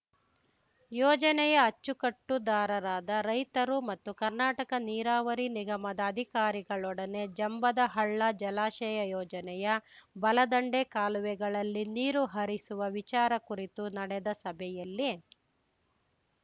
ಯೋಜನೆಯ ಅಚ್ಚುಕಟ್ಟುದಾರರಾದ ರೈತರು ಮತ್ತು ಕರ್ನಾಟಕ ನೀರಾವರಿ ನಿಗಮದ ಅಧಿಕಾರಿಗಳೊಡನೆ ಜಂಬದಹಳ್ಳ ಜಲಾಶಯ ಯೋಜನೆಯ ಬಲದಂಡೆ ಕಾಲುವೆಗಳಲ್ಲಿ ನೀರು ಹರಿಸುವ ವಿಚಾರ ಕುರಿತು ನಡೆದ ಸಭೆಯಲ್ಲಿ